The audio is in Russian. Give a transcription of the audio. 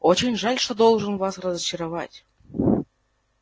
очень жаль что должен вас разочаровать